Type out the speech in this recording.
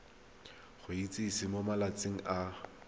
go itsise mo malatsing a